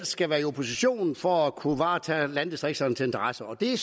skal være i opposition for at kunne varetage landdistrikternes interesser det